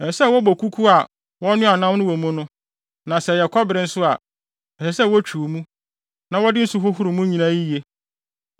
Ɛsɛ sɛ wɔbɔ kuku a wɔnoaa nam no wɔ mu no; na sɛ ɛyɛ kɔbere nso a, ɛsɛ sɛ wotwiw mu, na wɔde nsu hohoro mu nyinaa yiye.